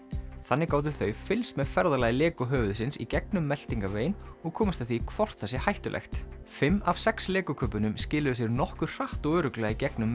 þannig gátu þau fylgst með ferðalagi Lego höfuðsins í gegnum meltingarveginn og komist að því hvort það sé hættulegt fimm af sex Lego kubbunum skiluðu sér nokkuð hratt og örugglega í gegnum